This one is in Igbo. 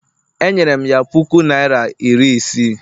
Enyere m ya puku naịra iri isii